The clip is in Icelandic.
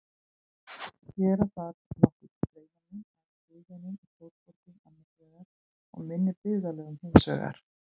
Gera þarf nokkurn greinarmun á siðvenjum í stórborgum annars vegar og minni byggðarlögum hins vegar.